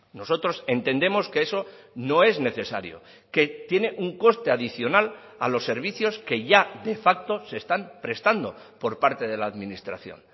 nosotros entendemos que eso no es necesario que tiene un coste adicional a los servicios que ya de facto se están prestando por parte de la administración